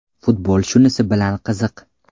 Futbol shunisi bilan qiziq.